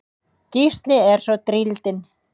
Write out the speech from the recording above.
Gísli er svo drýldinn.